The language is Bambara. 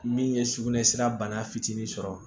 Min ye sugunɛ sira bana fitinin sɔrɔ